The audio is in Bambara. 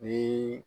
Ni